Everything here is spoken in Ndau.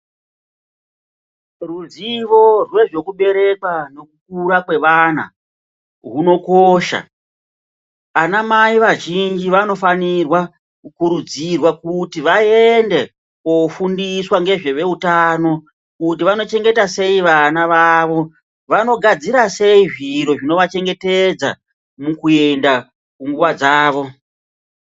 Ruzivo rwezvekuberekwa nekukura kwevana hunokosha. Anamai azhinji vanofanirwa kukurudzirwa kuti vaende kofundiswa ngezveveutano kuti vanochengeta sei vana vavo vanogadzira sei zviro zvinovachengetedza mukuenda kunguva dzavo.